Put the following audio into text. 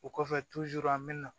O kɔfɛ an bɛ na